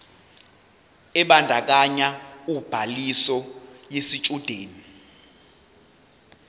ebandakanya ubhaliso yesitshudeni